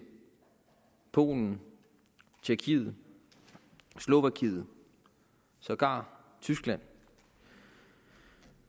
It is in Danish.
polen tjekkiet slovakiet sågar tyskland